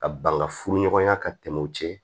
Ka ban ka furu ɲɔgɔnya ka tɛmɛ o cɛ